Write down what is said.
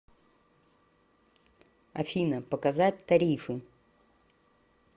афина показать тарифы